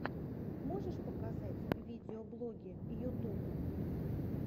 можешь показать видеоблоги ютуб